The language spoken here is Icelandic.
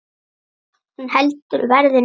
Hún heldur verðinu uppi.